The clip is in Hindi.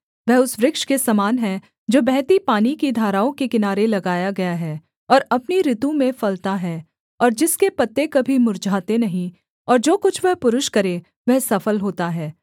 वह उस वृक्ष के समान है जो बहती पानी की धाराओं के किनारे लगाया गया है और अपनी ऋतु में फलता है और जिसके पत्ते कभी मुर्झाते नहीं और जो कुछ वह पुरुष करे वह सफल होता है